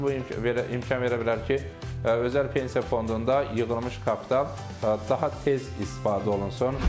Nəticədə bu imkan verə bilər ki, özəl pensiya fondunda yığılmış kapital daha tez istifadə olunsun.